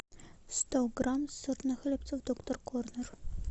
сто грамм сырных хлебцев доктор корнер